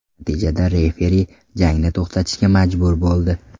Natijada referi jangni to‘xtatishga majbur bo‘ldi.